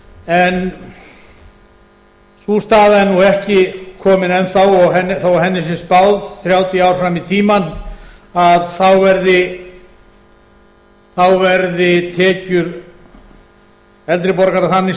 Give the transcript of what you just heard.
en sú staða er nú ekki komin enn þá þó henni sé spáð þrjátíu ár fram í tímann að þá verði tekjur eldri borgara þannig